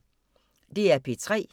DR P3